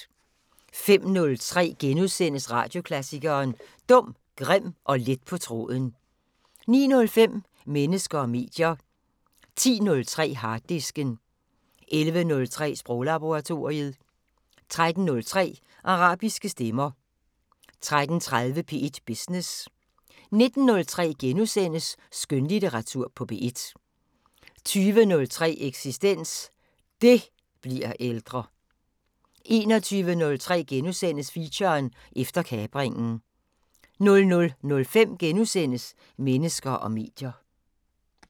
05:03: Radioklassikeren: Dum, grim og let på tråden * 09:05: Mennesker og medier 10:03: Harddisken 11:03: Sproglaboratoriet 13:03: Arabiske stemmer 13:30: P1 Business 19:03: Skønlitteratur på P1 * 20:03: Eksistens: DET bliver ældre 21:03: Feature: Efter kapringen * 00:05: Mennesker og medier *